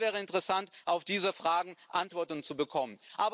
Es wäre interessant, auf diese Fragen Antworten zu bekommen.